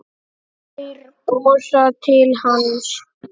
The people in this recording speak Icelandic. Þeir brosa til hans.